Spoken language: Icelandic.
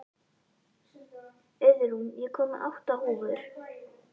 Auðrún, ég kom með átta húfur!